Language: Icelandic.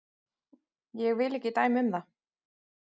Ég vil ekki dæma um það.